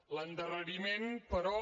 l’endarreriment però